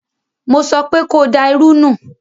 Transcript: Mo sọpé ko da irú nù!